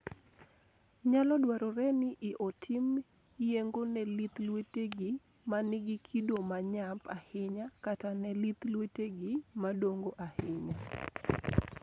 Nyalo dwarore ni otim yeng'o ne lith lwetegi ma nigi kido ma nyap ahinya, kata ne lith lwetegi madongo ahinya.